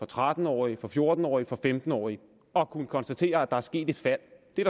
for tretten årige for fjorten årige og for femten årige og har kunnet konstatere at der er sket et fald det